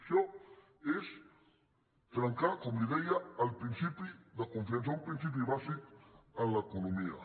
això és trencar com li deia el principi de confiança un principi bàsic en l’economia